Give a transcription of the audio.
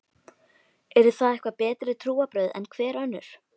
Eru það eitthvað betri trúarbrögð en hver önnur?